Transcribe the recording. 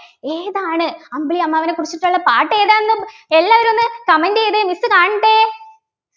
ഏതാണ് അമ്പിളിയമ്മാവനെ കുറിച്ചിട്ടുള്ള പാട്ട് ഏതാണെന്ന് എല്ലാവരും ഒന്ന് Comment ചെയ്തേ Miss കാണട്ടെ